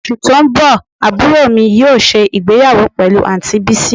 Osu to n bo aburo mi yoo se igbeyawo pelu anti Bisi